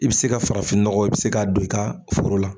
I bɛ se ka farafin nɔgɔ, i bɛ se ka don i ka foro la.